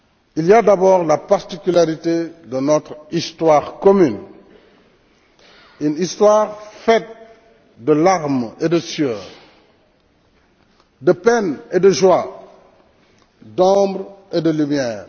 Il y a d'abord la particularité de notre histoire commune, une histoire faite de larmes et de sueur, de peines et de joies, d'ombre et de lumière.